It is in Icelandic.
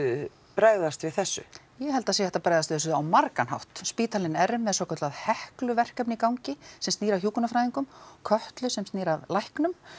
bregðast við þessu ég held að það sé hægt að bregðast við þessu á margan hátt spítalinn er með svokallað Heklu verkefni í gangi sem snýr að hjúkrunarfræðingum og Kötlu sem snýr að læknum